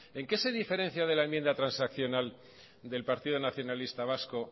en qué se diferencia de la enmienda transaccional del partido nacionalista vasco